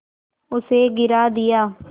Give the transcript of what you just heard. उसे गिरा दिया